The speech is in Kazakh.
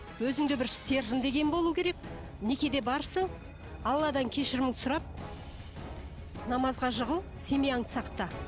өзіңде бір стержен деген болу керек некеде барсың алладан кешіріміңді сұрап намазға жығыл семьяңды сақта